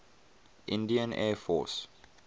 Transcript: indian air force